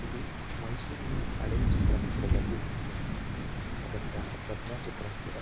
ಇದು ಮೈಸೂರಿನ ಹಳೆ ಚಿತ್ರ ಮಂದಿರಗಳಲ್ಲಿ ಒಂದು ಅದಂತ ಪದ್ಮ ಚಿತ್ರ ಮಂದಿರ